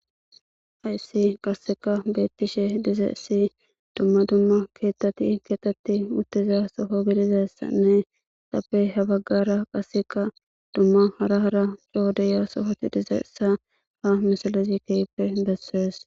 Hayssi qasseka beetishe dizayssi dumma dumma keeththati keeththetishe dizayssanne izappe hara baggara lo7oti dizayssa besees.